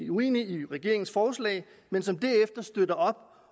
uenige i regeringens forslag men som derefter støtter op